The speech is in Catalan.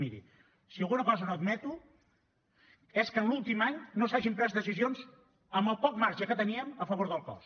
miri si alguna cosa no admeto és que l’últim any no s’hagin pres decisions amb el poc marge que teníem a favor del cos